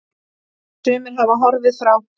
Sumir hafa horfið frá.